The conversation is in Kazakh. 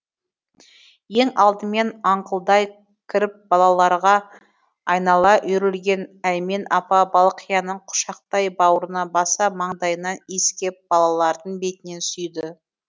ең алдымен аңқылдай кіріп балаларға айнала үйрілген әймен апа балқияны құшақтай бауырына баса маңдайынан искеп балалардың бетінен сүйді